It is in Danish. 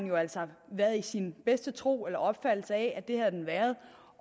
jo altså været i sin bedste tro på eller opfattelse af